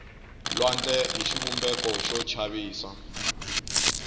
lwandle i xivumbeko xo chavisa